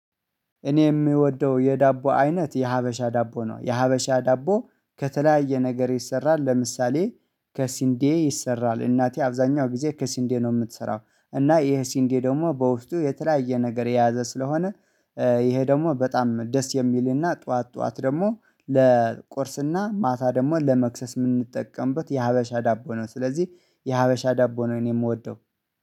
እኔ የምወደው የዳቦ አይነት የሀበሻ ዳቦ ነው። የሀበሻ ዳቦ ከተለያየ ነገር ይሰራል ለምሳሌ ከስንዴ ይሰራል እናቴ አብዛኛው ጊዜ ከሲንዴ ነው የምትሰራው። እና ይሄ ሲንዴ ደግሞ በውስጡ የተለያየ ነገር የያዘ ስለሆነ ይሄ ደግሞ በጣም ደስ የሚልና ጠዋት ጠዋት ደግሞ ለቁርስና ማታ ደግሞ ለመክሰስ የምንጠቀምበት የሀበሻ ዳቦ ነው። ስለዚህ የሀበሻ ዳቦ ነው እኔ የምወደው